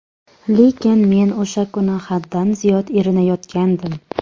Lekin men o‘sha kuni haddan ziyod erinayotgandim.